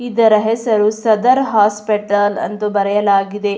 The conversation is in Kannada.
ಇದರ ಹೆಸರು ಸದರ್ ಹಾಸ್ಪಿಟಲ್ ಎಂದು ಬರೆಯಲಾಗಿದೆ.